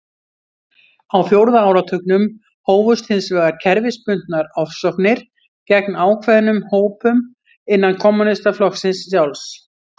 Á fjórða áratugnum hófust hins vegar kerfisbundnar ofsóknir gegn ákveðnum hópum innan kommúnistaflokksins sjálfs.